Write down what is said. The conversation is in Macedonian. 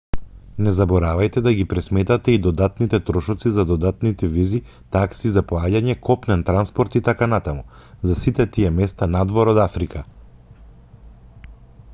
не заборавајте да ги пресметате и додатните трошоци за додатни визи такси за поаѓање копнен транспорт итн за сите тие места надвор од африка